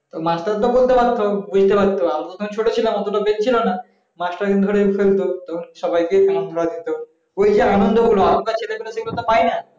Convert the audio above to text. master তো তখন বুঝতে পারত আমি তো তখন ছোট ছিলাম অতটা brain না মাস্টার কিন্তু ধরে ফেলত সবাইকে কান ধরা দিত ওই যে আনন্দগুলো এখনকার ছেলেপেলে তো পাই না